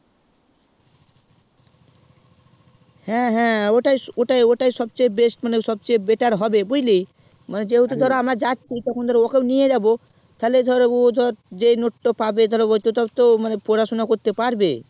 হ্যাঁ হ্যাঁ ওটাই সব থেকে best বা better হবে বুঝলি যেহেতু আমরা যাচ্ছি তো ওকেও নিয়ে যাবো তাহলে ও ধর মানে যেই note তো পাবে তাও তো ও পড়াশুনা করতে পারবে